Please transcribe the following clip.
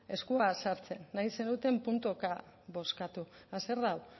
eskua sartzen nahi zenuten puntuka bozkatu eta zer da hau